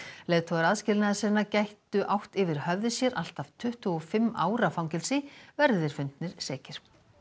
leiðtogar aðskilnaðarsinna gætu átt yfir höfði sér allt að tuttugu og fimm ára fangelsi verði þeir fundnir sekir